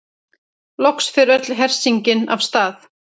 Loks fer öll hersingin af stað.